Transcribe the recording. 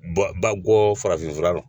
Bɔ ba bɔ farafin fura